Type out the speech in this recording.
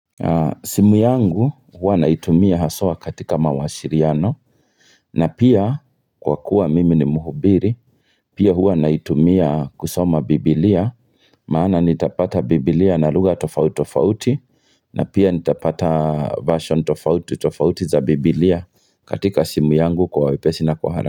Simu yangu huwa naitumia haswa katika mawasiliano na pia kwa kuwa mimi ni muhubiri Pia huwa naitumia kusoma biblia maana nitapata biblia na lugha tofauti tofauti na pia nitapata version tofauti tofauti za biblia katika simu yangu kwa wepesi na kwa haraka.